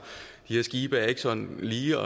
de her skibe er ikke sådan lige